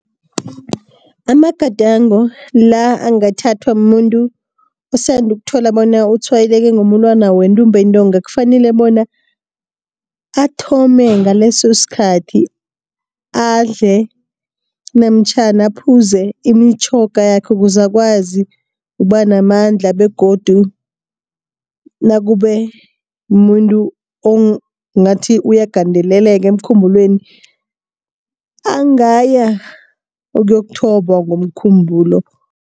Amagadango la angathathwa mumuntu osanda ukuthola bona utshwayeleke ngomulwana wentumbantonga, kufanele bona athome ngaleso sikhathi adle namtjhana aphuze imitjhoga yakhe ukuze akwazi ukuba namandla begodu nakube mumuntu ongathi uyagandeleleka emkhumbulweni, angaya ukuyokuthobiwa ngomkhumbulo.